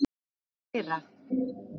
Þar læra